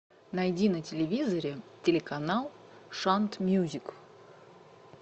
найди на телевизоре телеканал шант мьюзик